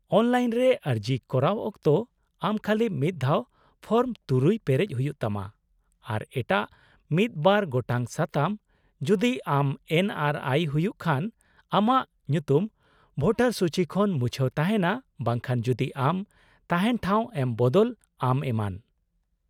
-ᱚᱱᱞᱟᱭᱤᱱᱨᱮ ᱟᱨᱡᱤ ᱠᱚᱨᱟᱣ ᱚᱠᱛᱚ, ᱟᱢ ᱠᱷᱟᱹᱞᱤ ᱢᱤᱫ ᱫᱷᱟᱣ ᱯᱷᱚᱨᱢ ᱖ ᱯᱮᱨᱮᱡ ᱦᱩᱭᱩᱜ ᱛᱟᱢᱟ, ᱟᱨ ᱮᱴᱟᱜ ᱢᱤᱫ ᱵᱟᱨ ᱜᱚᱴᱟᱝ ᱥᱟᱛᱟᱢ, ᱡᱩᱫᱤ ᱟᱢ ᱮᱱ ᱹ ᱟᱨ ᱹ ᱟᱭ ᱹ ᱦᱩᱭᱩᱜ ᱠᱷᱟᱱ , ᱟᱢᱟᱜ ᱧᱩᱛᱩᱢ ᱵᱷᱳᱴᱟᱨ ᱥᱩᱪᱤ ᱠᱷᱚᱱ ᱢᱩᱪᱷᱟᱹᱣ ᱛᱟᱦᱮᱱᱟ ᱵᱟᱝᱠᱷᱟᱱ ᱡᱩᱫᱤ ᱟᱢ ᱛᱟᱦᱮᱱ ᱴᱷᱟᱣ ᱮᱢ ᱵᱚᱫᱚᱞ ᱟᱢ, ᱮᱢᱟᱱ ᱾